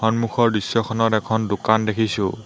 সন্মুখৰ দৃশ্যখনত এখন দোকান দেখিছোঁ।